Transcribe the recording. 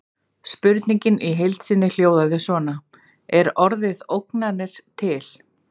Spurningin í heild sinni hljóðaði svona: Er orðið ógnanir til?